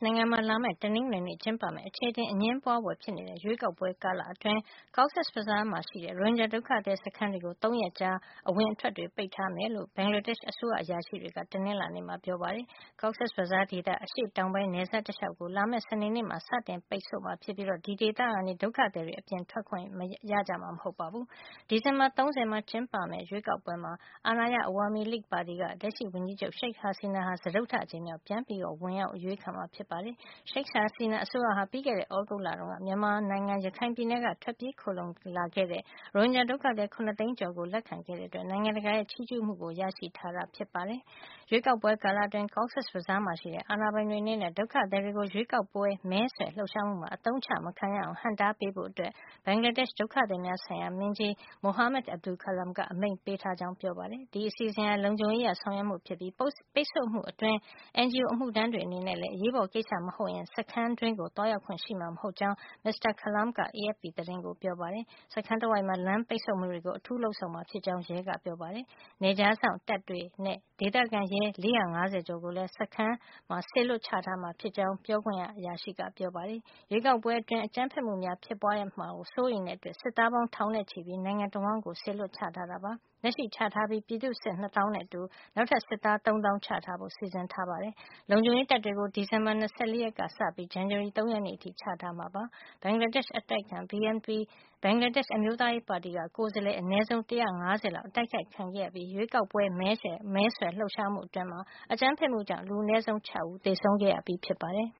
နိုင်ငံမှာ လာမယ့် တနင်္ဂနွေနေ့ ကျင်းပမယ့် အခြေအတင် အငြင်းပွါးဖွယ်ဖြစ်နေတဲ့ ရွေးကောက်ပွဲကာလ အတွင်း Cox’s Bazar က ရိုဟင်ဂျာ ဒုက္ခသည် စခန်းတွေကို ၃ ရက်ကြာ အဝင်အထွက် ပိတ်ထားမှာ ဖြစ်ကြောင်း ဘင်္ဂလားဒေ့ရှ် အစိုးရ အရာရှိတွေက တနင်္လာနေ့က ပြောပါတယ်။ Cox’s Bazar ဒေသရဲ့ အရှေ့တောင်ပိုင်း နယ်စပ် တလျှောက်ကို လာမယ့် စနေနေ့မှာ စတင်ပိတ်မှာ ဖြစ်ပြီး အဲဒီဒေသကနေ ဒုက္ခသည်တွေ အပြင်ထွက်ခွင့် ရကြမှာ မဟုတ်ပါဘူး။ ဒီဇင်ဘာ ၃၀ ရက် ကျင်းပမယ့် ရွေးကောက်ပွဲမှာ အာဏာရ Awami League ပါတီက လက်ရှိဝန်ကြီးချုပ် Sheik Hasina ဟာ စတုတ္ထ အကြိမ်မြောက် ပြန်လည် ဝင်ရောက် အရွေးချယ် ခံမှာဖြစ်ပါတယ်။ Sheik Hasina အစိုးရဟာ ပြီးခဲ့တဲ သြဂုတ်လက မြန်မာနိုင်ငံ ရခိုင်ပြည်နယ်ကနေ ထွက်ပြေးခိုလှုံခဲ့တဲ ရိုဟင်ဂျာ ဒုက္ခသည် ၇ သိန်းကျော်ကို လက်ခံခဲ့တဲ့ အတွက် နိုင်ငံတကာရဲ့ ချီးကျူးမှုကို ရရှိထားတာ ဖြစ်ပါတယ်။ ရွေးကောက်ပွဲ ကာလအတွင်း Cox’s Bazar ရှိ အာဏာပိုင်တွေ အနေနဲ့ ဒုက္ခသည်တွေကို ရွေးကောက်ပွဲ မဲဆွယ်လှုပ်ရှားမှုမှာ အသုံးချ မခံရအောင် ဟန့်တားပေးဖို့ ဘင်္ဂလားဒေ့ရှ် ဒုက္ခသည်များ ဆိုင်ရာ မင်းကြီး Mohamad Abdu Khalam က အမိန့်ပေးထား ကြောင်း ပြောပါတယ်။ ဒီအစီအစဉ်ဟာ လုံခြုံရေး အရ ဆောင်ရွက်မှု ဖြစ်ပြီး ပိတ်ဆို့မှု အတွင်း NGO အမှုထမ်းတွေ အနေနဲ့လည်း အရေးပေါ် ကိစ္စ မဟုတ်ရင် စခန်းထဲ သွားရောက်ခွင့် ရှိမှာမဟုတ်ကြောင်း မစ္စတာ Khalam က AFP သတင်းကို ပြောပါတယ်။ စခန်းတဝိုက်မှာ လမ်းပိတ်ဆို့မှုတွေ ကို အထူးလုပ်ဆောင်မှာ ဖြစ်ကြောင်း ရဲက ပြောပါတယ်။ ဒါ့အပြင် နယ်ခြားစောင့် တပ်တွေနဲ့ ဒေသခံရဲ ၄၅၀ ကျော်ကိုလည်း စခန်းမှာ စေလွှတ်ချထားမှာ ဖြစ်ကြောင်း ပြောခွင့်ရက ပြောပါတယ်။ ရွေးကောက်ပွဲ အတွင်း အကြမ်းဖက်မှုများ ဖြစ်ပွါးမှာ စိုးရိမ်တဲ့အတွက် စစ်သားပေါင်း ထောင်နဲ့ ချီပြီး နိုင်ငံတဝှမ်း စေလွှတ် ချထားပါတယ်။ လက်ရှိချထားပြီး ပြည်သူ့စစ် ၂ သောင်းနဲ့အတူ နောက်ထပ် စစ်သား ၃ သောင်း ချထားဖို့ စီစဉ်ထားပါတယ်။ လုံခြုံရေးတပ်တွေကို ဒီဇင်ဘာလ ၂၄ ကစေပြီး ဇန်နဝါရီလ ၃ ရက်နေ့ အထိ ချထားမှာ ဖြစ်ပါတယ်။ ဘင်္ဂလားဒေ့ရှ် အတိုက်အခံ BNP ဘင်္ဂလားဒေ့ရှ် အမျိုးသားရေးပါတီက ကိုယ်စားလှယ် အနဲဆုံး ၁၅၀ အတိုက်ခိုက် ခံခဲ့ရပြီး ရွေးကောက်ပွဲမဲဆွယ်လှုပ်ရှားမှု အတွင်း အကြမ်းဖက်မှုကြောင့် လူအနည်းဆုံး ၆ ဦး သေဆုံးခဲ့ရပြီး ဖြစ်ပါတယ်။